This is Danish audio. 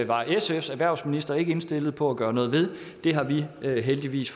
var sfs erhvervsminister ikke indstillet på at gøre noget ved det har vi vi heldigvis